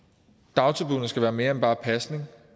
dagtilbuddene skal være mere end bare pasning